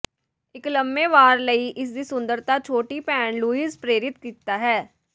ਇੱਕ ਲੰਮੇ ਵਾਰ ਲਈ ਇਸ ਦੀ ਸੁੰਦਰਤਾ ਛੋਟੀ ਭੈਣ ਲੁਈਜ਼ ਪ੍ਰੇਰਿਤ ਕੀਤਾ ਹੈ